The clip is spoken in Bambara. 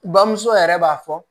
Bamuso yɛrɛ b'a fɔ